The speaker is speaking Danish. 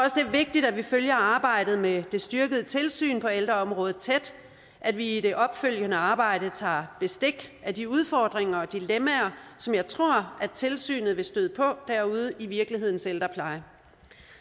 vigtigt at vi følger arbejdet med det styrkede tilsyn på ældreområdet tæt at vi i det opfølgende arbejde tager bestik af de udfordringer og dilemmaer som jeg tror at tilsynet vil støde på derude i virkelighedens ældrepleje